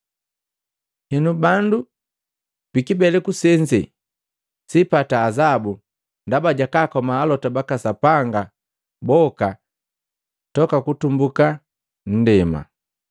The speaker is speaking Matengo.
Henu bandu bikiibeleku senze sipata azabu ndaba jakakoma alota baka Sapanga boka tangu kutumbuka nndema,